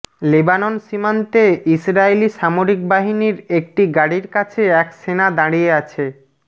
Lebanon সীমান্তে Israeli সামরিক বাহিনীর একটি গাড়ির কাছে এক সেনা দাঁড়িয়ে আছে